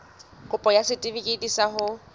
kopo ya setefikeiti sa ho